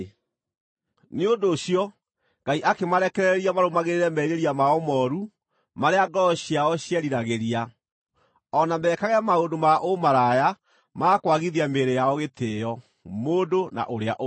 Nĩ ũndũ ũcio Ngai akĩmarekereria marũmagĩrĩre merirĩria mao mooru marĩa ngoro ciao cieriragĩria, o na mekage maũndũ ma ũmaraya ma kwagithia mĩĩrĩ yao gĩtĩĩo, mũndũ na ũrĩa ũngĩ.